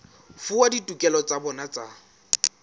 fuwa ditokelo tsa bona tsa